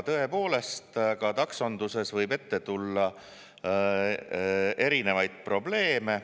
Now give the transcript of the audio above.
Tõepoolest, ka taksonduses võib ette tulla erinevaid probleeme.